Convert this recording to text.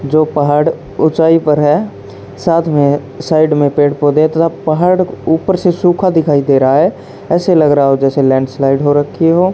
जो पहाड़ ऊंचाई पर है साथ में साइड में पेड़ पौधे तथा पहाड़ ऊपर से सुखा दिखाई दे रहा है ऐसे लग रहा है जैसे लैंडस्लाइड हो रखी हो।